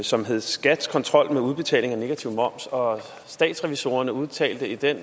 som hedder skats kontrol med udbetaling af negativ moms og statsrevisorerne udtalte i den